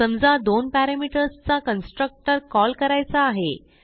समजा दोन पॅरामीटर्स चा कन्स्ट्रक्टर कॉल करायचा आहे